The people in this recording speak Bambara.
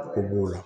Ko b'o la